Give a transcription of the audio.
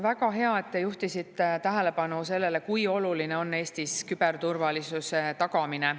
Väga hea, et te juhtisite tähelepanu sellele, kui oluline on Eestis küberturvalisuse tagamine.